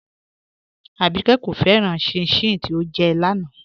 Àbíkẹ́ kò fẹ́ràn chin-chin tí ọ́ jẹ́ láńà